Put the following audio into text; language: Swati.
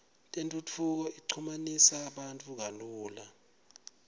tentfutfuko ichumanisa bantfu kalula